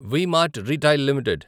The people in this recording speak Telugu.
we mart retail limited